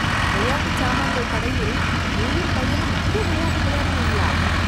விளையாட்டுச் சாமான்கள் கடையில, நீயும் பையனும் புது விளையாட்டு விளையாடினீங்களா...